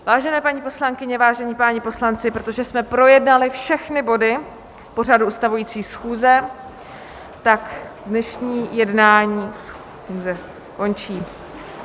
Vážené paní poslankyně, vážení páni poslanci, protože jsme projednali všechny bodu pořadu ustavující schůze, tak dnešní jednání schůze končí.